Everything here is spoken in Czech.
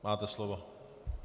Máte slovo.